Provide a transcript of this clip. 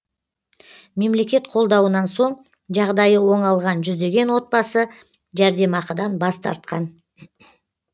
мемлекет қолдауынан соң жағдайы оңалған жүздеген отбасы жәрдемақыдан бас тартқан